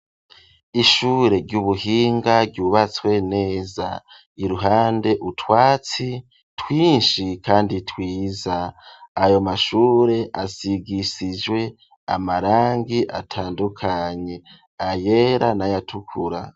Ishure ry'ubuhinga ryubatswe neza iruhande utwatsi twishi kandi twiza ayo mashure asigishije amarangi atandukanye ayera n'ayatukura.